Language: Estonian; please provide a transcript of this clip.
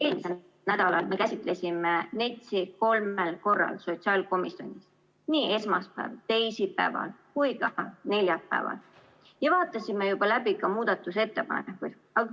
Eelmisel nädalal me käsitlesime NETS‑i kolmel korral sotsiaalkomisjonis – nii esmaspäeval, teisipäeval kui ka neljapäeval – ja vaatasime juba läbi ka muudatusettepanekuid.